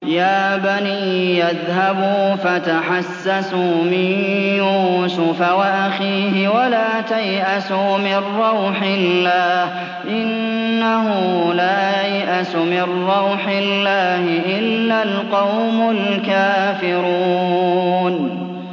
يَا بَنِيَّ اذْهَبُوا فَتَحَسَّسُوا مِن يُوسُفَ وَأَخِيهِ وَلَا تَيْأَسُوا مِن رَّوْحِ اللَّهِ ۖ إِنَّهُ لَا يَيْأَسُ مِن رَّوْحِ اللَّهِ إِلَّا الْقَوْمُ الْكَافِرُونَ